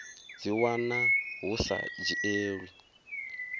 dzi wana hu sa dzhielwi